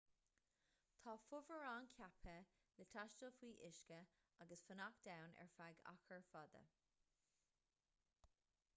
tá fomhuireáin ceaptha le taisteal faoi uisce agus fanacht ann ar feadh achar fada